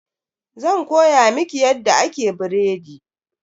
Zan koya miki yadda ake biredi.